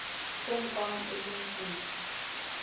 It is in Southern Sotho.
se nkwang e le mputso